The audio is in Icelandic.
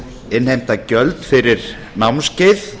innheimta gjöld fyrir námskeið